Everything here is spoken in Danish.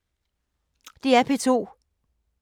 DR P2